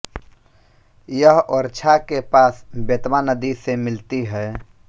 यह ओरछा के पास बेतवा नदी से मिलती है